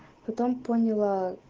потом поняла